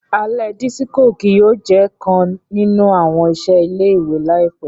Alẹ disiko kii yóò jẹ kan ninu awọn iṣẹ ile-iwe laipẹ.